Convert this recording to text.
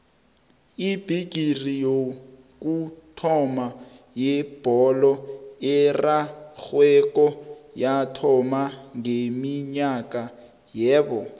ibhigiri yokuthoma yebholo erarhwako yathoma ngeminyaka yabo